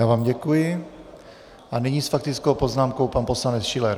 Já vám děkuji a nyní s faktickou poznámkou pan poslanec Schiller.